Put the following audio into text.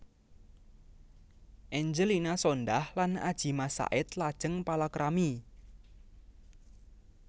Angelina Sondakh lan Adjie Massaid lajeng palakrami